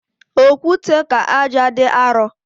Okwute ka ájá dị arọ